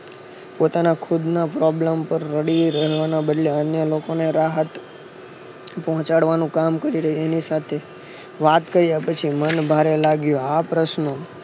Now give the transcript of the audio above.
પોતાના ખુદ ના problem પર રડી રહેવા ના બદલે અન્ય લોકોને રાહત પોહ્ચાડવા નું કામ કરી એની સાથે વાત કાર્ય પછી મન ભારે લાગ્યું આ પ્રસ્નો